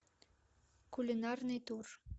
кулинарный тур